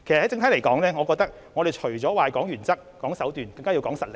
整體而言，我認為除了談原則和手段外，更加要講求實力。